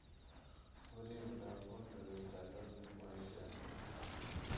время работы вертолетной площадки